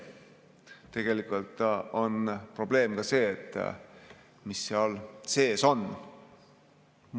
Tegelikult on probleem ka see, mis seal sees on.